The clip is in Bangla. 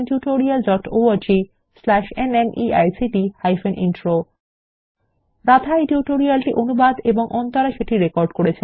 httpspoken tutorialorgNMEICT Intro রাধা এই টিউটোরিয়াল টি অনুবাদ এবং অন্তরা সেটি রেকর্ড করেছেন